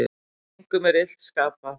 Engum er illt skapað.